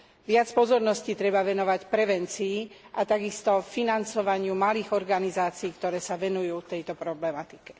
Viac pozornosti treba venovať prevencii a takisto financovaniu malých organizácií, ktoré sa venujú tejto problematike.